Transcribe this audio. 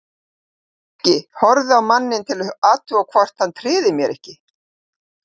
Ég hélt ekki, horfði á manninn til að athuga hvort hann tryði mér ekki.